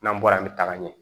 N'an bɔra an bɛ taga ɲɛ